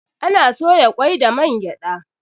Ana soya kwai da man gyada